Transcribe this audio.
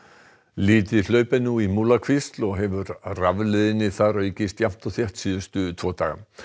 lítið hlaup er nú í Múlakvísl og hefur rafleiðni þar aukist jafnt og þétt síðustu tvo daga